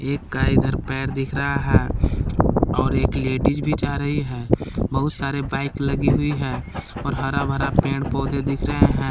एक का इधर पैर दिख रहा है और एक लेडिस भी जा रही है बहुत सारे बाइक लगी हुई है और हरा भरा पेड़ पौधे दिख रहे हैं।